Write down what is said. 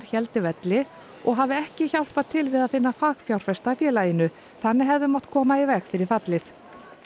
héldi velli og hafi ekki hjálpað til við að finna fagfjárfesta að félaginu þannig hefði mátt koma í veg fyrir fallið